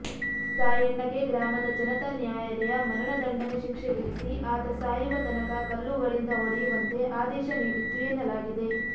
ಸಾಯಣ್ಣಗೆ ಗ್ರಾಮದ ಜನತಾ ನ್ಯಾಯಾಲಯ ಮರಣದಂಡನೆ ಶಿಕ್ಷೆ ವಿಧಿಸಿ ಆತ ಸಾಯುವ ತನಕ ಕಲ್ಲುಗಳಿಂದ ಹೊಡೆಯುವಂತೆ ಆದೇಶ ನೀಡಿತ್ತು ಎನ್ನಲಾಗಿದೆ